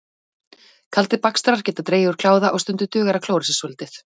Kaldir bakstrar geta dregið úr kláða og stundum dugar að klóra sér svolítið.